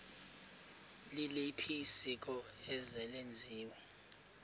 liliphi isiko eselenziwe